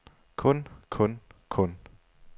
kun kun kun